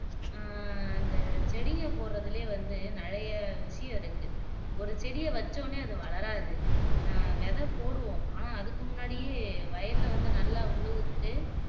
ஆஹ் இந்த செடிங்க போட்றதுலயே நிறைய விஷயம் இருக்கு ஒரு செடிய வச்சோனே அது வளராது அஹ் விதை போடுவோம் ஆனா அதுக்கு முன்னாடியே வயல வந்து நல்லா உழுதுபுட்டு